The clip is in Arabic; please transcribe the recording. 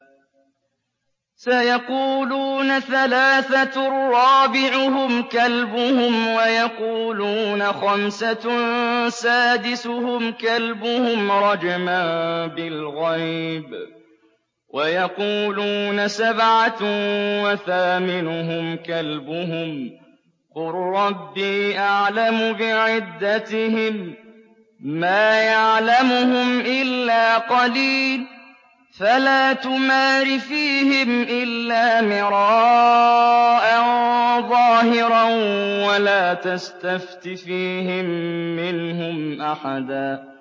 سَيَقُولُونَ ثَلَاثَةٌ رَّابِعُهُمْ كَلْبُهُمْ وَيَقُولُونَ خَمْسَةٌ سَادِسُهُمْ كَلْبُهُمْ رَجْمًا بِالْغَيْبِ ۖ وَيَقُولُونَ سَبْعَةٌ وَثَامِنُهُمْ كَلْبُهُمْ ۚ قُل رَّبِّي أَعْلَمُ بِعِدَّتِهِم مَّا يَعْلَمُهُمْ إِلَّا قَلِيلٌ ۗ فَلَا تُمَارِ فِيهِمْ إِلَّا مِرَاءً ظَاهِرًا وَلَا تَسْتَفْتِ فِيهِم مِّنْهُمْ أَحَدًا